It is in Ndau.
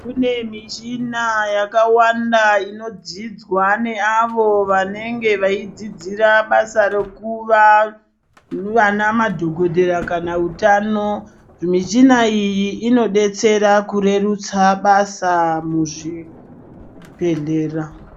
Kune mishina yakawanda inodzidzwa neavo vanenge veidzidzira basa rekuva vana madhokodhera kana utano michina iyi inodetsera kurerusa basa muzvibhedhlera.